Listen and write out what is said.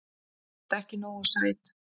Þú ert ekki nógu sæt.